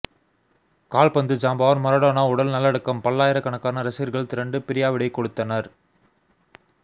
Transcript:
கால்பந்து ஜாம்பவான் மரடோனா உடல் நல்லடக்கம் பல்லாயிரக் கணக்கான ரசிகர்கள் திரண்டு பிரியாவிடை கொடுத்தனர்